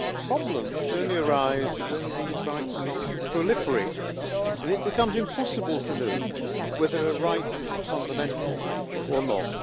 Problems only arise when these rights start to proliferate and it becomes impossible to know whether a right is fundamental or not.